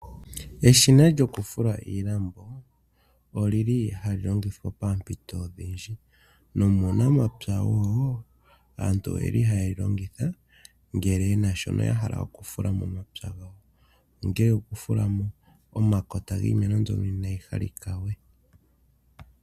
Eshina lyokufula iilambo, oli li hali longithwa poompito odhindji. Nomuunamapya wo, aantu oye li haye li longitha, ngele ye na sho ya hala oku fula momapya gawo. Ongee oku fula mo omakota giimeno mbyono inaa yi halika we.